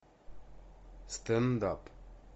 стендап